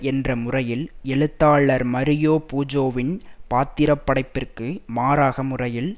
என்ற முறையில் எழுத்தாளர் மரியோ புஜோவின் பாத்திரப்படைப்பிற்கு மாறாக முறையில்